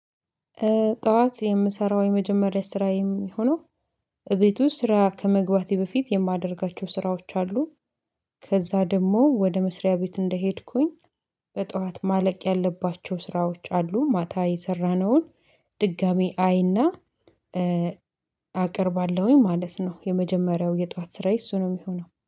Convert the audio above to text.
ጠዋት የምሰራው የመጀመሪያ ስራ የሚሆነው እቤት ውስጥ ስራ ከመግባቴ በፊት የማደርጋቸው ስራዎች አሉ። ከዛ ደግሞ ወደ መስሪያ ቤት እንደሄድኩኝ። በጠዋት ማለቅ ያለባቸው ስራዎች አሉ ማታ የሰራነውን ድጋሚ አይና አቅርባለሁኝ ማለት ነው። የመጀመሪያው የጧት ስራዬ እሱ ነው የሚሆነው